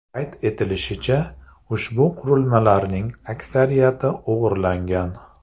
Qayd etilishicha, ushbu qurilmalarning aksariyati o‘g‘irlangan.